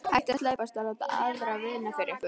Hættið að slæpast og láta aðra vinna fyrir ykkur.